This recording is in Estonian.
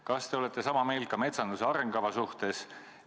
Kas te olete sama meelt ka metsanduse arengukava suhtes?